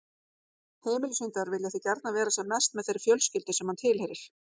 Heimilishundar vilja því gjarnan vera sem mest með þeirri fjölskyldu sem hann tilheyrir.